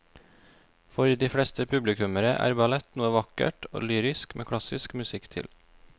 For de fleste publikummere er ballett noe vakkert og lyrisk med klassisk musikk til.